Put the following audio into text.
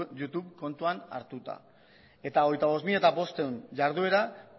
youtube kontuan hartuta eta hogeita bost mila bostehun jarduera